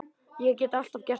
Ég get alltaf gert það.